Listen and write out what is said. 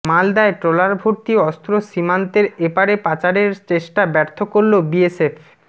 মালদায় ট্রলার ভর্তি অস্ত্র সীমান্তের এপারে পাচারের চেষ্টা ব্যর্থ করল বিএসএফ